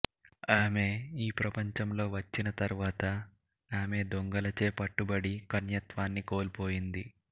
ఆమె ఈ ప్రపంచంలో వచ్చిన తర్వాత ఆమె దొంగలచే పట్టబడి కన్యత్వాన్ని కోల్పోయింది